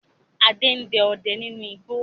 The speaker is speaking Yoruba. Adé ń dẹ ọdẹ nínú igbó